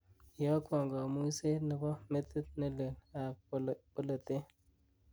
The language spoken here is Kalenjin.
iyokwon komuiseet nebo metit nelel ab boletet